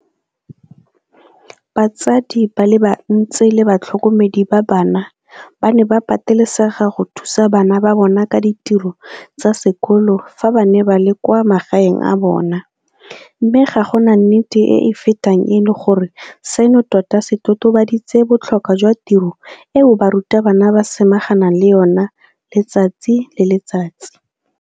Batsadi ba le bantsi le batlhokomedi ba bana ba ne ba patelesega go thusa bana ba bona ka ditiro tsa sekolo fa ba ne ba le kwa magaeng a bona, mme ga gona nnete e e fetang eno gore seno tota se totobaditse botlhokwa jwa tiro eo barutabana ba samaganang le yona letsatsi le letsatsi.